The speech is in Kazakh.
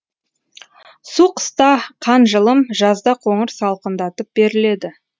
су қыста қан жылым жазда қоңыр салқындатып беріледі